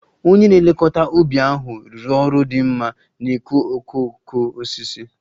Onye na-elekọta ubi ahụ rụrụ ọrụ dị mma n'ịkụ okooko osisi